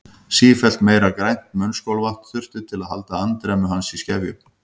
Sífellt meira grænt munnskolvatn þurfti til að halda andremmu hans í skefjum.